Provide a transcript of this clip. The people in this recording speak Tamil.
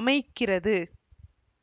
அமைக்கிறது